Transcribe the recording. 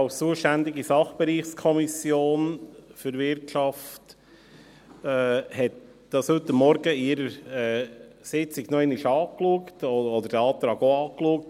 Als zuständige Sachbereichskommission für Wirtschaft hat die FiKo das heute Morgen in ihrer Sitzung noch einmal angeschaut oder den Antrag auch angeschaut.